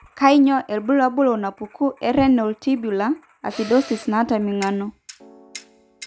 Kainyio irbulabul onaapuku eRenal tubular acidosis naata eming'ano?